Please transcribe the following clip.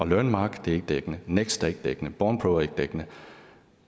learnmark er ikke dækkende next er ikke dækkende bornpro er ikke dækkende